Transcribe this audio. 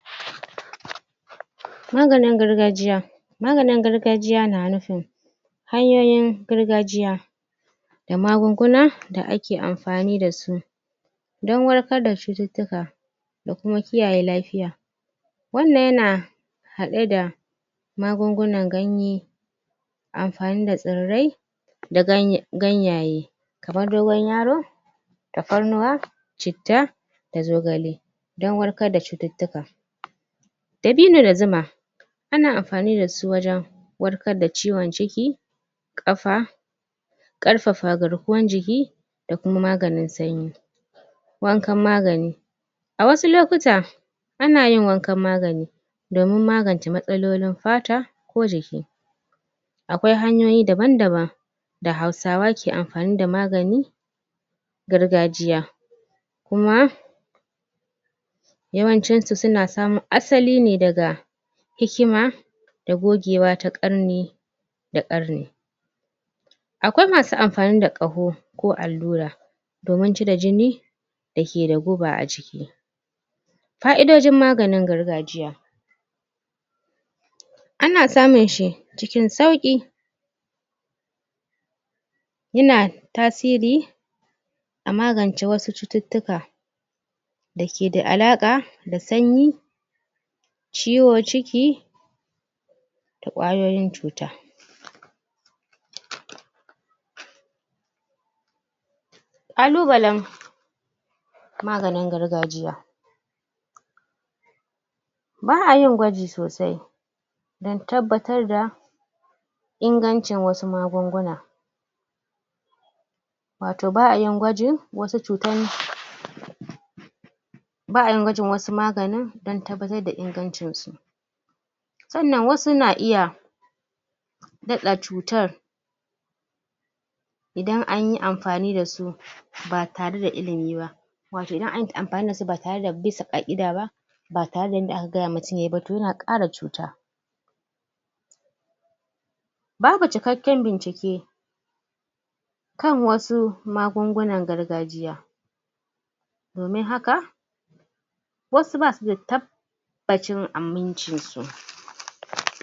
Maganin gargjiya maganin gargajiya na nufin hanyoyin gargajiya da magunguna da ake amfani da su dan warkar da cuttutuka da kuma kiyaye lafiya wannan yana haɗe da magungunan ganye amfani da tsirai da ganyaye kamar dogon yaro tafarnuwa citta da zogale dan warkar da cuttutuka dabino da zuma ana amfani dasu wajan warkar da ciwon ciki kafa ƙarfafa garkuwan jiki da kuma maganin sanyi wankan magani a wasu lokutan ana yin wankan magani domin magance matsalolin fata ko jiki akwai hanyoyi daban-daban da hausawa ke amfani da magani gargajiya kuma yawancisu suna samun asali ne daga hikima da bogewa ta ƙanne da ƙarni akwai masu amfani da ƙaho ko allura domin cire jini dake da guba a jiki fa'idojin maganin gargajiya ana samunshi cikin sauƙi yana tasiri a magance wasu cuttutuka dake da alaƙa da sanyi ciwon ciki da ƙwayoyin cuta kalubalan maganin gargajiya ba'ayin gwaji sosai dan tabbatar da ingancin wasu magunguna wato ba'ayin gwajin wasu cutan ba'yin gwajin wasu magani da tabbatar da ingancinsu sannan wasu na iya naɗa cutar idan ayi amfani dasu ba tare da ilimi ba wato idan anyi amfani dasu ba tare da bisa ƙaida ba ba tare da inda aka gayawa mtum yayi ba to yana ƙara cuta babu cikaken bincike kan wasu magungunan gargajiya domin haka wasu ba suda tabacin amincin su.